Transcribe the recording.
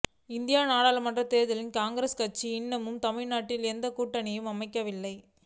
இந்திய நாடாளுமன்றத் தேர்தலில் காங்கிரஸ் கட்சி இன்னமும் தமிழ்நாட்டில் எந்தக் கூட்டணியையும் அமைக்கவில்லை